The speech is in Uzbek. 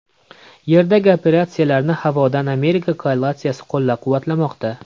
Yerdagi operatsiyalarni havodan Amerika koalitsiyasi qo‘llab-quvvatlamoqda.